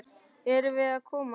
Erum við að koma?